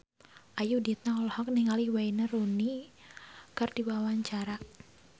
Ayudhita olohok ningali Wayne Rooney keur diwawancara